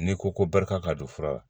N'i ko ko barika ka don fura la